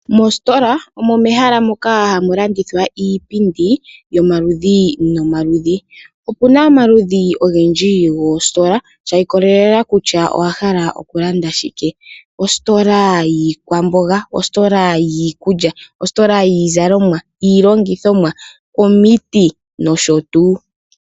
Mositola omo mehala moka hamu landithwa iipindi yomaludhi nomaludhi. Opu na omaludhi ogendji goositola shi ikolelela kutya owa hala okulanda shike, ositola yiikwamboga, ositola yiikulya, ositola yiizalomwa, iilongithomwa, omiti nosho tuu.